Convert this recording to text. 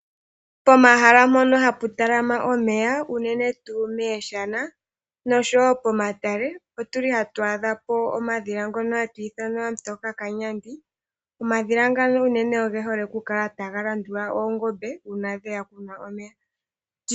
Pomahala mpoka ha pu talama omeya, unene tuu mooshana nosho woo pomatale, oha tu adha po omadhila ngono ha tu ithana ooHamutoka Kanyandi, omadhila ngono unene ge hole oku kala ta ga landula oongombe uuna dheya okunwa omeya.